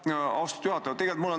Aitäh, austatud juhataja!